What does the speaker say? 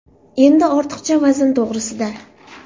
Endi ortiqcha vazn to‘g‘risida.